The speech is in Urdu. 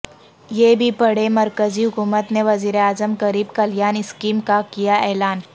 یہ بھی پڑھیں مرکزی حکومت نے وزیر اعظم غریب کلیان اسکیم کا کیاعلان